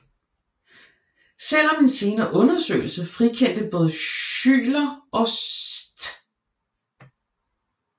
Selv om en senere undersøgelse frikendte både Schuyler og St